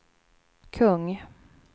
kung